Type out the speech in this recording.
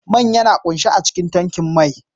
Man yana kunshe a cikin tankin mai.